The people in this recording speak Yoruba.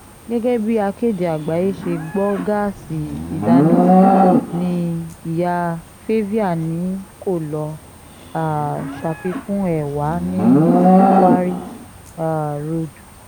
gẹ́gẹ́ bí akéde àgbáyé ṣe gbọ́ gáàsì ìdáná ní ìyá favia ni kó lọ́ọ́ um ṣàfikún ẹ̀ wà ní quarry um road